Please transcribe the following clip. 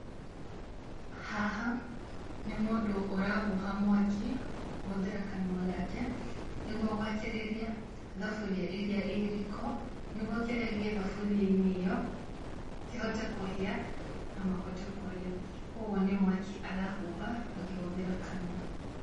Haha nĩ mũndũ arahuha mwaki kũhũthĩra kanua gake, nĩguo gwakĩrĩria thabũria ĩrĩa ĩ riko, nĩ guo kĩrĩa gĩ thaburia-inĩ ĩyo kĩhote kũhia na mahote kũrĩa. Kũguo nĩ mwaki arahuha akĩhũthĩra kanua.